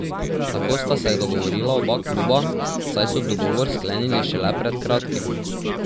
Tako sta se dogovorila oba kluba, saj so dogovor sklenili šele pred kratkim.